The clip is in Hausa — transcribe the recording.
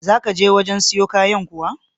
Za ka je wajen siyo kayan kuwa?